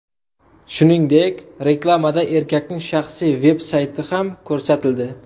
Shuningdek, reklamada erkakning shaxsiy veb-sayti ham ko‘rsatildi.